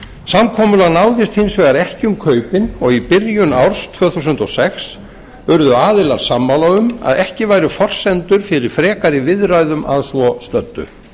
samkomulag náðist hins vegar ekki um kaupin og í byrjun árs tvö þúsund og sex urðu aðilar sammála um að ekki væru forsendur fyrir frekari viðræðum að svo stöddu